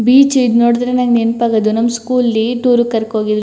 Beach ಈಗ ನೋಡಿದ್ರೆ ನನಗೆ ನೆನಪಾಗೋದು ನಮ್ಮ ಸ್ಕೂಲ್ ಲಿ ಟೂರ್ ಗೆ ಕರ್ಕೊ ಹೋಗಿದ್ರು.